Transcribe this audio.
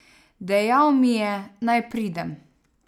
Dejal mi je, naj pridem.